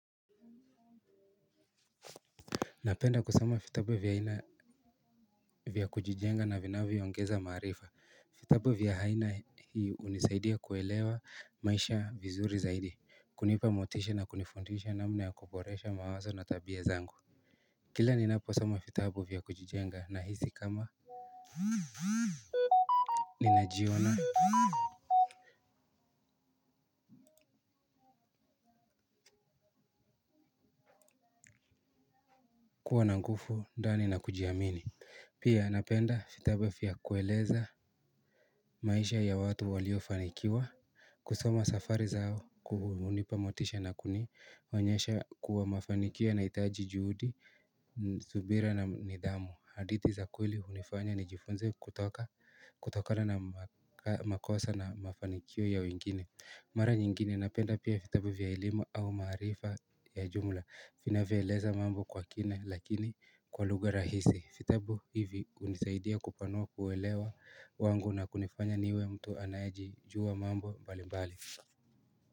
Napenda kusoma vitabu vya aina vya kujijenga na vinavyongeza maarifa. Vitabu vya aina hii hunisaidia kuelewa maisha vizuri zaidi. Kunipa motisha na kunifundisha namna ya kuboresha mawazo na tabia zangu. Kila ninaposama vitabu vya kujijenga nahisi kama ni najiona kuwa na nguvu, ndani na kujiamini. Pia napenda vitabu vya kueleza maisha ya watu walio fanikiwa. Kusoma safari zao kuhunipa motisha na kunionyesha kuwa mafanikio yanahitaji juhudi subira na nidhamu hadithi za kweli hunifanya nijifunze kutoka kutokana na makosa na mafanikio ya wengine. Mara nyingine napenda pia vitabu vya elimu au mwarifa ya jumla vinavyoeleza mambo kwa kina lakini kwa lugha rahisi. Vitabu hivi hunisaidia kupanua uelewa wangu na kunifanya niwe mtu anaejijua mambo mbali mbali.